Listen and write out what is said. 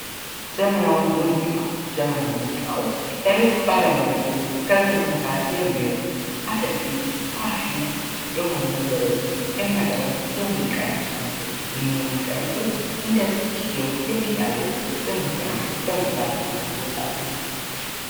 ዘመናዊ ሙዚቃ፦ ዘመናዊ ሙዚቃዎች ለየት ባለ መልኩ ከዘመኑ ጋር የሚሄዱ፥ አዳዲስ ፋሽን የሆኑ ነገሮችን የሚያቀርቡ፥ የሙዚቃ ዓይነቶች ናቸው። እነኝህ የሙዚቃ ዓይነቶች እንደየ ጊዜው የሚቀየሩ በመባል ይታወቃሉ።